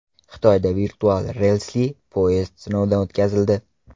Xitoyda virtual relsli poyezd sinovdan o‘tkazildi .